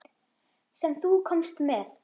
Sem þú komst með.